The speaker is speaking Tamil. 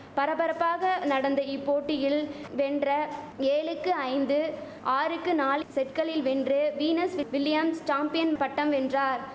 பரபரப்பாக நடந்த இப்போட்டியில் வென்ற ஏழுக்கு ஐந்து ஆறுக்கு நாலு செட்களுக்கு செட்களில் வென்று வீனஸ் வில்லியம்ஸ் சாம்பியன் பட்டம் வென்றார்